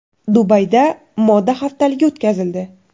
Dubayda moda haftaligi o‘tkazildi.